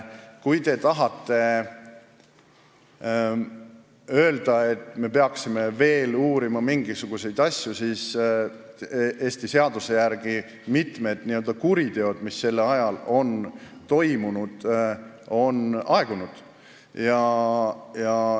Kui te tahate öelda, et me peaksime veel uurima mingisuguseid asju, siis Eesti seaduse järgi on mitmed n-ö kuriteod, mis sel ajal on toimunud, praeguseks aegunud.